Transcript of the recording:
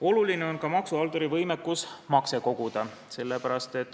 Oluline on ka maksuhalduri võimekus makse koguda.